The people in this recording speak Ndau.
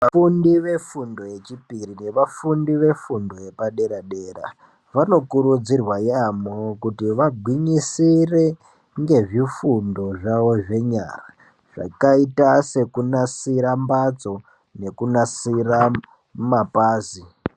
Vafundi vefundo yechipiri nevafundi vefundo yepadera dera vanokurudzirwa yamho kuti vagwinyisire nezvifundo zvawo zvenyara zvakaita sekunasira mbatso nekunasira mapazi.